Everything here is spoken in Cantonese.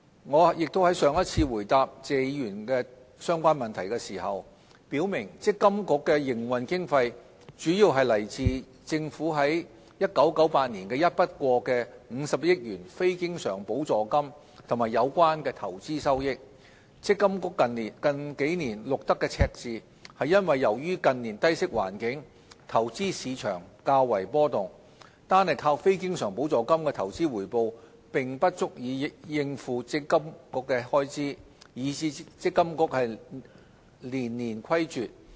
我亦已在上一次回答謝議員相關問題時表明積金局的營運經費主要來自政府於1998年的一筆過50億元非經常補助金及有關的投資收益，積金局近數年錄得赤字是因為由於近年低息環境，投資市場較為波動，單靠非經常補助金的投資回報並不足以應付積金局的開支，以致積金局連年虧絀。